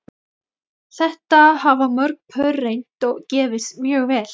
Þetta hafa mörg pör reynt og gefist mjög vel.